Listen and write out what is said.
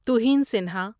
توہین سنہا